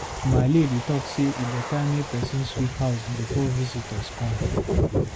Maale dey talk sey e good make pesin sweep house before visitor go come.